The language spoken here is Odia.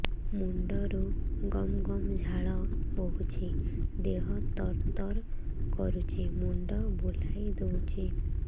ମୁଣ୍ଡରୁ ଗମ ଗମ ଝାଳ ବହୁଛି ଦିହ ତର ତର କରୁଛି ମୁଣ୍ଡ ବୁଲାଇ ଦେଉଛି